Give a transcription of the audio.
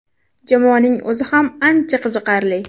Jamoaning o‘zi ham ancha qiziqarli.